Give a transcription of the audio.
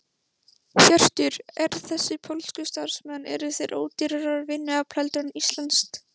Hjörtur: Eru þessir pólsku starfsmenn, eru þeir ódýrara vinnuafl heldur en íslenskt?